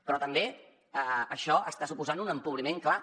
però també això està suposant un empobriment clar